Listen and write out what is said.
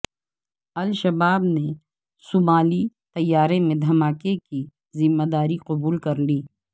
الشباب نے صومالی طیارے میں دھماکے کی ذمہ داری قبول کر لی